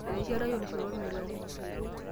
Eteyiara oloshoro o,elok.